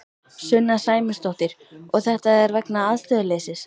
Sunna Sæmundsdóttir: Og þetta er vegna aðstöðuleysis?